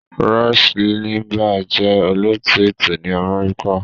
Rush Limbaugh jẹ́ olóòtú ètò ní Amẹ́ríkà.